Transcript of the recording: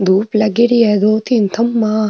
धुप लागेड़ी है दो तीन खम्भा --